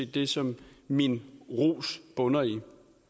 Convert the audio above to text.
det som min ros bunder i